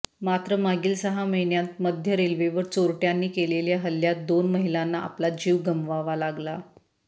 मात्र मागील सहा महिन्यांत मध्य रेल्वेवर चोरटयांनी केलेल्या हल्ल्यात दोन महिलांना आपला जीव गमवावा लागला